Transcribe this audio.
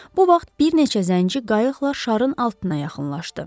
Bu vaxt bir neçə zənci qayıqla şarın altına yaxınlaşdı.